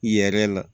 Yɛrɛ la